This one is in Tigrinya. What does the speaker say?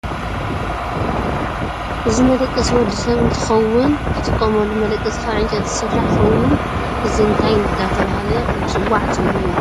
እዚ መደቀሲ ወድሰብ እንትከውን ዝተፋላለዩ ኣቁት ገዛ እውን ከም ዝንህዉ እንትከውን እዚ ወድሰብ ዝጥቀመሉ መደቀሲ ካብ ዕንጨይቲ ዝስራሕ ኮይኑ እዚ እንታይ እዳተበሃለ ይፅዋዕ ትብልዎ?